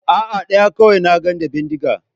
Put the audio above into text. A'a, ɗaya kawai na ga da bindiga.